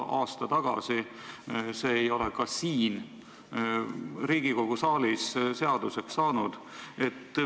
See ei ole ka siin Riigikogu saalis seaduseks saanud.